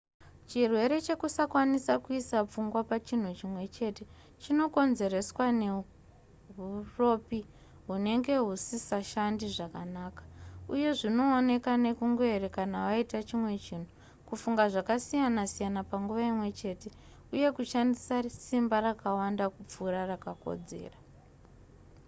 chirwere chekusakwanisa kuisa pfungwa pachinhu chimwe chete chinokonzerwa neuropi hunenge husisashande zvakanaka uye zvinooneka nekungoerekana waita chimwe chinhu kufunga zvakasiyana-siyana panguva imwe chete uye kushandisa simba rakawanda kupfuura rakakodzera